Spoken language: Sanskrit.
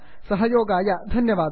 सहयोगाय धन्यवादाः